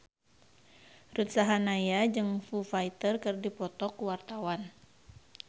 Ruth Sahanaya jeung Foo Fighter keur dipoto ku wartawan